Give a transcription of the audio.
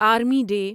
army day